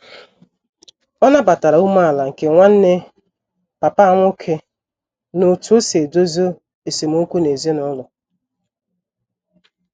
O nabatatara umeala nke Nwanne papa nwoke n'otu osi edezo esem okwu n'ezinulo